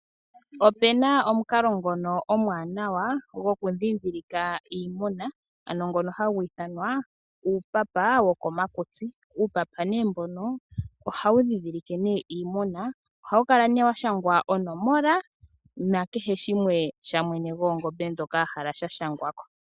Opena omukalo ngono omwaanawa gondhindhilika iimuna ano ngono hagu ithanwa uupapa, uupapa ohawu ndhindhilike iimuna, ohawu kala née washangwa onomola nakehe shimwe shamwene gwoongombe ndhoka ahala shashangwako.